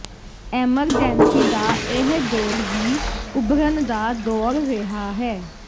emergency ਦਾ ਇਹ ਦੌਰ ਵੀ ਉਭਰਨ ਦਾ ਦੌਰ ਰਿਹਾ ਹੈ